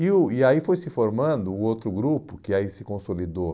E o e aí foi se formando o outro grupo, que aí se consolidou,